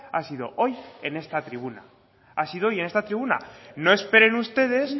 ha sido hoy en esta tribuna ha sido hoy en esta tribuna no esperen ustedes